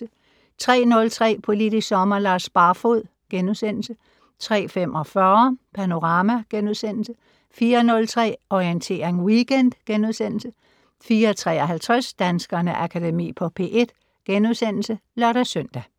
03:03: Politisk Sommer: Lars Barfoed * 03:45: Panorama * 04:03: Orientering Weekend * 04:53: Danskernes Akademi på P1 *(lør-søn)